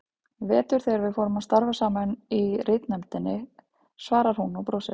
Í vetur þegar við fórum að starfa saman í ritnefndinni, svarar hún og brosir.